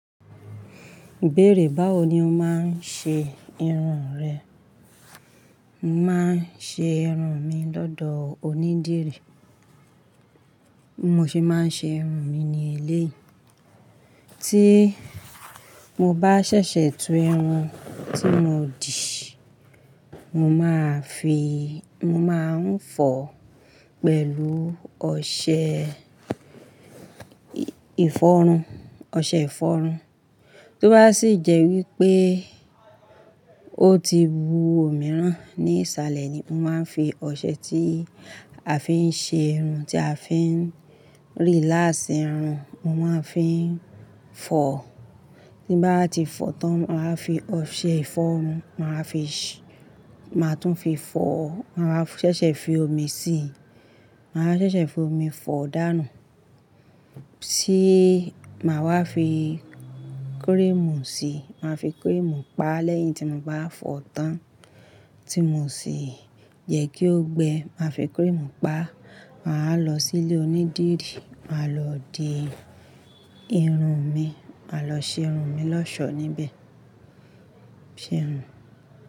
Bẹ́ẹ̀rẹ̀, báwo ni o máa ń ṣe irun rẹ? Màá ṣe irun mi lọ́dọ̀ onídìrí, bi mo se máa ń ṣe irun mi ní eléyi. Tí mo bá ṣẹ̀ṣẹ̀ tu irun tí mo dì, mo máa fi, mo máa ń fọ̀ pẹ̀lú ọṣẹ ìfọrun, ọṣẹ ìfọrun. Tó bá sì jẹ́ wípé ó ti wu òmi rán ní ìsàlẹ̀ ni, mo máa ń fi ọṣẹ tí a fi ń ṣe irun, tí a fi ń relax irun, mo máa ń fi fọ̀. Tí bá ti fọ̀ tán, màá fi ọṣẹ ìfọrun, màá fi ṣé, màá tún fi fọ, màá ṣẹ̀ṣẹ̀ fi omi sí i, màá ṣẹ̀ṣẹ̀ fi omi fọ̀ dànù. Tí màá wá fi cream síi, màá fi cream pa lẹ́yìn tí mo bá fọ̀ tán, tí mo sì jẹ́ kí ó gbẹ, màá fi cream pa. Màá lọ sí ilé onídìrí, màá lọ dì irun mi, màá lọ ṣe irun mi lọ́ṣọ̀ọ́ níbẹ̀. Ṣe irun.